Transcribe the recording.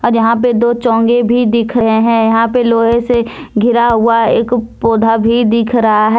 और यहां पे दो चौंगे भी दिख रहे हैं यहां पे लोहे से घिरा हुआ एक पौधा भी दिख रहा है।